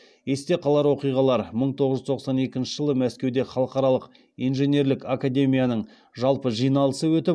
есте қалар оқиғалар мың тоғыз жүз тоқсан екінші жылы мәскеуде халықаралық инженерлік академияның жалпы жиналысы өтіп